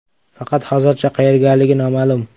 Faqat hozircha qayergaligi noma’lum.